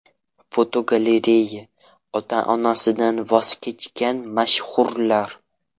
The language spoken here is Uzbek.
Fotogalereya: Ota-onasidan voz kechgan mashhurlar.